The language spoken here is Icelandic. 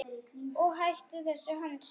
Og hættum þessu hangsi.